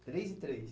Três e três?